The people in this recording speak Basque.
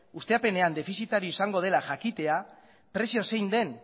ustiapenean defizitarioa izango dela jakitea prezioa zein den